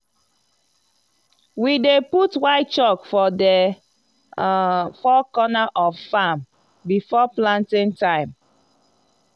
we dey put white chalk for the um four corner of farm before planting time.